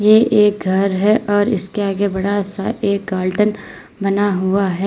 ये एक घर है और इसके बड़ा सा एक गार्डन बना हुआ है।